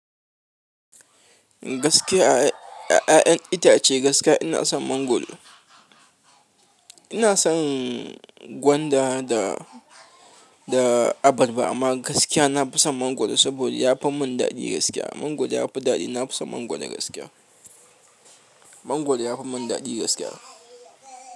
Gaskiya a ya'yan itace gaskiya ina son mangwaro. Ina son gwanda da, da abarba amma gaskiya na fi son mangwaro saboda ya fi mun daɗi gaskiya. Mangwaro ya fi daɗi. Na fi son mangwaro gaskiya. Mangwaro ya fi min daɗi gaskiya.